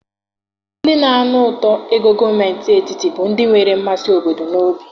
Ndị na-anụ ụtọ ego gọọmentị etiti bụ ndị nwere mmasị obodo n'obi.